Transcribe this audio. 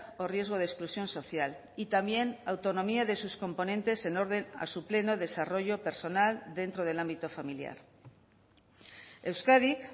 o riesgo de exclusión social y también autonomía de sus componentes en orden a su pleno desarrollo personal dentro del ámbito familiar euskadik